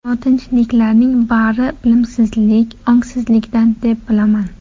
Notinchliklarning bari bilimsizlik, ongsizlikdan, deb bilaman.